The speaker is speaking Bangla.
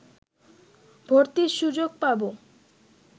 ভর্তির সুযোগ পাব